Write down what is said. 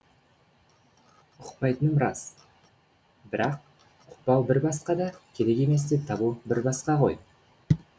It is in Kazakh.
ұқпайтыным рас бірақ ұқпау бір басқа да керек емес деп табу бір басқа ғой